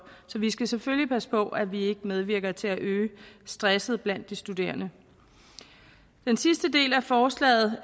så vi skal selvfølgelig passe på at vi ikke medvirker til at øge stress blandt de studerende den sidste del af forslaget